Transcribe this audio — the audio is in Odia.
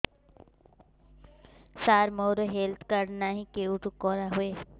ସାର ମୋର ହେଲ୍ଥ କାର୍ଡ ନାହିଁ କେଉଁଠି କରା ହୁଏ